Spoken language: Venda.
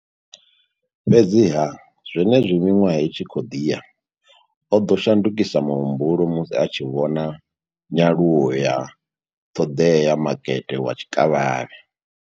Fhedziha, zwenezwi miṅwaha i tshi khou ḓi ya, o ḓo shandukisa muhumbulo musi a tshi vhona nyaluwo ya ṱhoḓea ya makete wa tshikavhavhe.